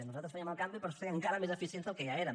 nosaltres fèiem el canvi per ser encara més eficients del que ja érem